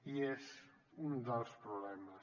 i és un dels problemes